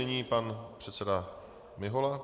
Nyní pan předseda Mihola.